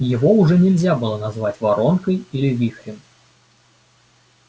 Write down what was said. его уже нельзя было назвать воронкой или вихрем